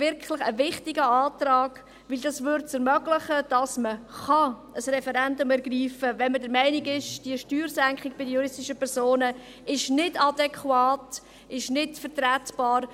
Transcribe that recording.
Denn das würde ermöglichen, dass man ein Referendum ergreifen kann, wenn man der Meinung ist, diese Steuersenkung bei den juristischen Personen sei nicht adäquat, nicht vertretbar;